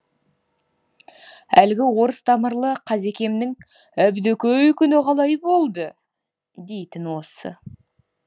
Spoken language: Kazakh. әлгі орыс тамырлы қазекемнің әбдөкөй күні қалай болды дейтіні осы